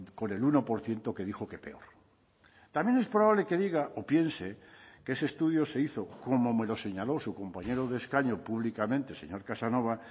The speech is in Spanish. con el uno por ciento que dijo que peor también es probable que diga o piense que ese estudio se hizo como me lo señaló su compañero de escaño públicamente señor casanova